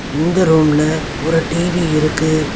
இந்த ரூம்ல ஒரு டி_வி இருக்கு.